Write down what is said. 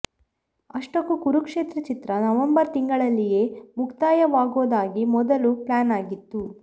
ಅಷ್ಟಕ್ಕೂ ಕುರುಕ್ಷೇತ್ರ ಚಿತ್ರ ನವೆಂಬರ್ ತಿಂಗಳಲ್ಲಿಯೇ ಮುಕ್ತಾಯವಾಗೋದಾಗಿ ಮೊದಲು ಪ್ಲ್ಯಾನ್ ಆಗಿತ್ತು